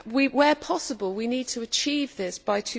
Where possible, we need to achieve this by